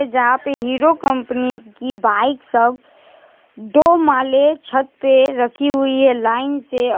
जहां पे Hero company की बाइक सब दो माले छत पे रखी हुई है लाइन से।